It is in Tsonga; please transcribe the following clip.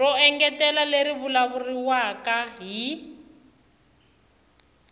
ro engetela leri vulavuriwaka hi